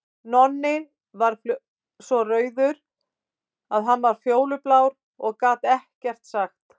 Nonni varð svo rauður að hann varð fjólublár og gat ekkert sagt.